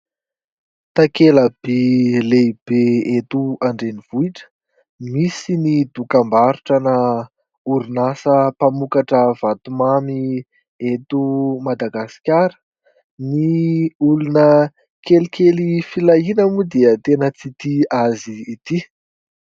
Takelaby lehibe eto an-drenivohitra, misy ny dokam-barotra ana orinasa mpamokatra vatomamy eto Madagasikara. Ny olona kelikely filahiana moa dia tena tsy tia azy ity.